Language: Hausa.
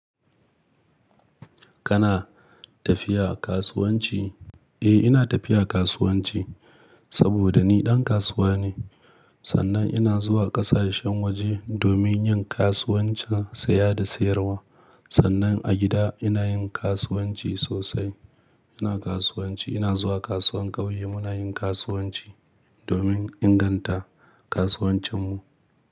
Kana tafiya kasuwanci? Eh, ina tafiya kasuwanci saboda ni ɗan kasuwa ne. Sannan ina zuwa ƙasashen waje domin yin kasuwancin saya da sayarwa. Sannan a gida ina yin kasuwanci sosai. Ina kasuwanci, ina zuwa kasuwar ƙauye, muna yin kasuwanci domin inganta kasuwancinmu.